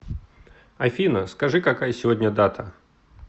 афина скажи какая сегодня дата